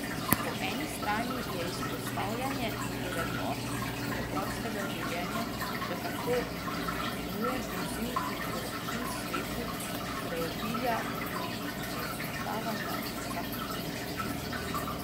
Po eni strani je izpostavljanje vrednot preprostega življenja še kako nujen izziv in korektiv svetu preobilja in razmetavanja z vsakršnimi dobrinami.